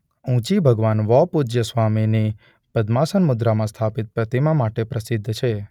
ઊંચી ભગવાન વૌપૂજ્યસ્વામીની પદ્માસન મુદ્રામાં સ્થાપિત પ્રતિમા માટે પ્રસિદ્ધ છે.